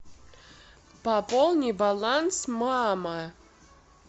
пополни баланс мама